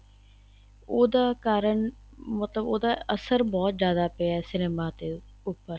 ਉਹਦਾ ਕਾਰਨ ਮਤਲਬ ਉਹਦਾ ਅਸਰ ਬਹੁਤ ਜਿਆਦਾ ਪਇਆ ਹੈ cinema ਦੇ ਉੱਪਰ